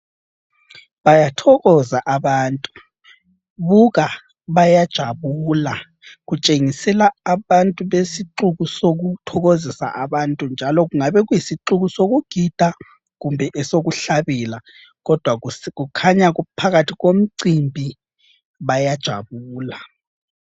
Bayathokoza abantu, buka bayajabula. Kutshengisela abantu besixuku sokuthokozisa abantu, njalo kungabe kuyisixuku sokugida kumbe esokuhlabela, kodwa kukhanya kuphakathi komcimbi bayajabula.